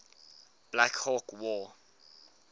black hawk war